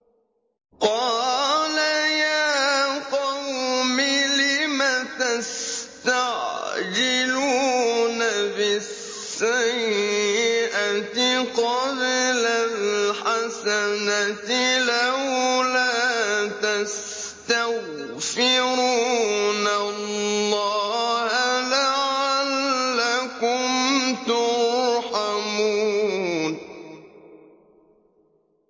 قَالَ يَا قَوْمِ لِمَ تَسْتَعْجِلُونَ بِالسَّيِّئَةِ قَبْلَ الْحَسَنَةِ ۖ لَوْلَا تَسْتَغْفِرُونَ اللَّهَ لَعَلَّكُمْ تُرْحَمُونَ